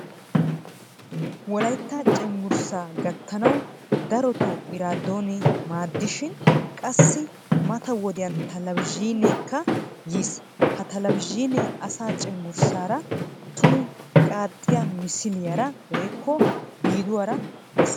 Wolaytta cenggurssa gattanawu darotto eradoone maadishin, qassi mata wodiyan talavazhineekka yiis. Ha talavazhinee asa cenggurssara tumu qaaxiya misiliyara woykko biduwaara besees.